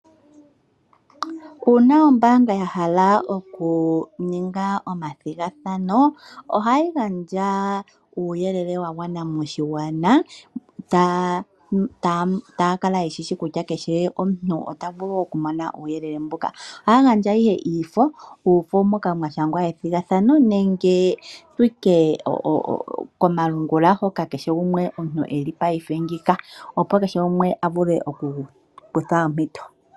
Uuna ombaanga yahala okuninga omathigathano ohayi gandja uuyelele wagwana moshigwana, taa kala yeshishi kutya kehe omuntu otavulu okumona uuyelele mboka, ohaa gandja ihe iifo, iifo moka mwa shangwa ethigathano nenge tutye komalungula hoka kehe gumwe omuntu eli paife ngeyika opo kehe gumwe avule okukutha ompito.